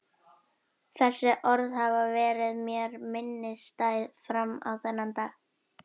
Þessi orð hafa verið mér minnisstæð fram á þennan dag.